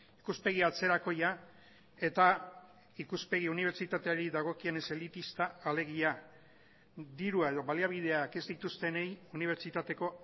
ikuspegi atzerakoia eta ikuspegi unibertsitateari dagokienez elitista alegia dirua edo baliabideak ez dituztenei unibertsitateko